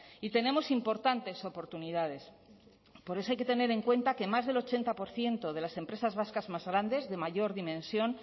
y tenemos importantes oportunidades por eso hay que tener en cuenta que más del ochenta por ciento de las empresas vascas más grandes de mayor dimensión